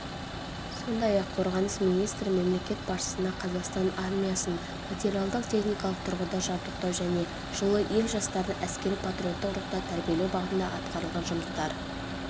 сондай-ақ қорғаныс министрі мемлекет басшысына қазақстан армиясын материалдық-техникалық тұрғыда жабдықтау және жылы ел жастарын әскери-патриоттық рухта тәрбиелеу бағытында атқарылған жұмыстар